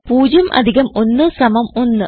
0 അധികം 1 സമം 1